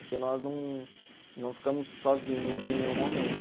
Porque nós não não ficamos sozinhos em nenhum momento.